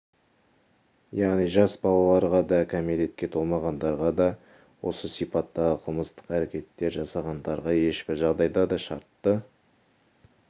яғни жас балаларға да кәмелетке толмағандарға да осы сипаттағы қылмыстық әрекеттер жасағандарға ешбір жағдайда да шартты